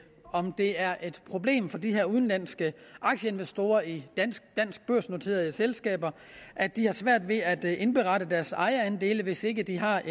om det er et problem for de her udenlandske aktieinvestorer i danske børsnoterede selskaber at de har svært ved at indberette deres ejerandele hvis ikke de har